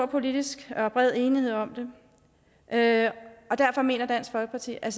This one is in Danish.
politisk enighed om det og derfor mener dansk folkeparti at